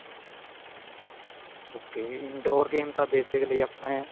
ok indoor games ਤਾਂ basically ਆਪਣੇ